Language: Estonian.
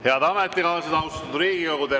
Head ametikaaslased, austatud Riigikogu!